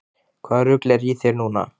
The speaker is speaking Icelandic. Hvaða rugl er í þér núna?